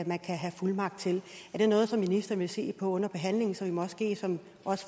man kan have fuldmagt til er det noget som ministeren vil se på under behandling så vi måske som